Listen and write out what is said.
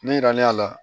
Ne yiral'a la